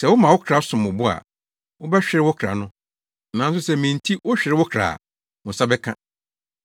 Sɛ woma wo kra som wo bo a, wobɛhwere wo kra no, nanso sɛ me nti wohwere wo kra a, wo nsa bɛka.